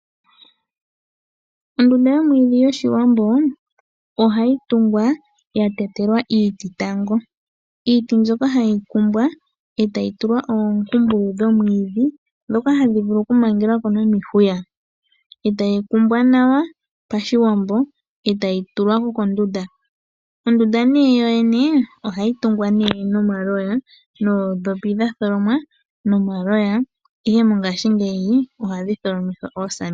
Ondunda yomwiidhi yOshiwambo ohayi tungwa ya tetelwa iiti tango. Iiti mbyoka hayi kumbwa e tayi tulwa oompumpulu dhomwiidhi ndhoka hadhi vulu okukala dha mangelwa ko nomihuya. E tayi kumbwa nawa Pashiwambo e tayi tulwa kondunda. Ondunda yoyene ohayi tungwa nomaloya noondhopi dha tholomwa nomaloya, ihe mongashingeyi ohadhi tholomithwa oosamende.